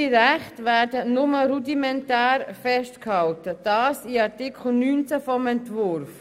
Ihre Rechte werden nur rudimentär festgehalten, so in Artikel 19 des Entwurfs.